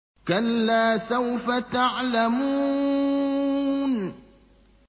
كَلَّا سَوْفَ تَعْلَمُونَ